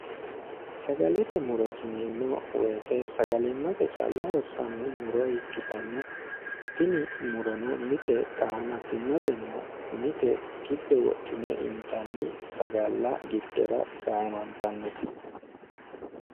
sagalete murojineemmo woyite sagalimmate caalla hossanno muro ikkitanna tini murono mite qaamattimmatenna mite giddo wodhine intanni sagalla giddora gaamantannote